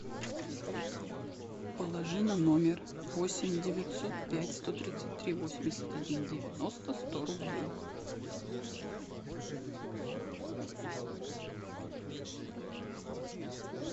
положи на номер восемь девятьсот пять сто тридцать три восемьдесят один девяносто сто рублей